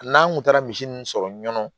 N'an kun taara misi ninnu sɔrɔ ɲɔn